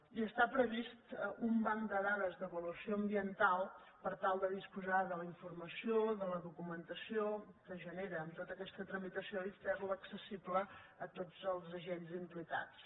i està previst un banc de dades d’avaluació ambiental per tal de disposar de la informació de la documentació que genera tota aquesta tramitació i fer la accessible a tots els agents implicats